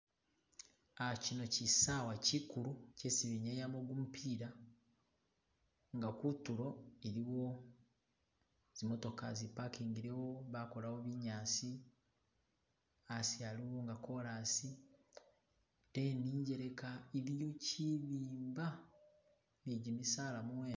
Ah kino kisawa kikulu chesi benyayamo kumupila nga kutulo iliwo zi'motoka zi'pakingilewo bakolawo binyasi asi aliwo nga kolasi ate nenjeleka iliyo kibimba ne jimisala mubwene.